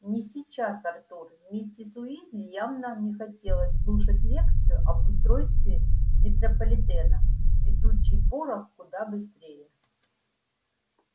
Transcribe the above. не сейчас артур миссис уизли явно не хотелось слушать лекцию об устройстве метрополитена летучий порох куда быстрее